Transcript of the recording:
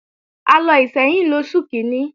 A lọ Ìṣẹ́yìn lóṣù kíní